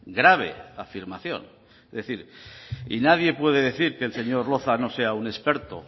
grave afirmación es decir y nadie puede decir que el señor loza no sea un experto